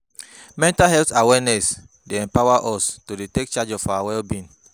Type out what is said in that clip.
Mental health awareness dey empower us to take charge of our well-being.